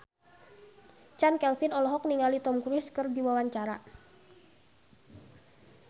Chand Kelvin olohok ningali Tom Cruise keur diwawancara